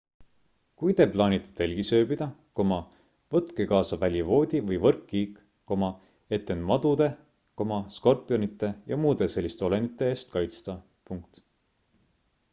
kui te plaanite telgis ööbida võtke kaasa välivoodi või võrkkiik et end madude skorpionite ja muude selliste olendite eest kaitsta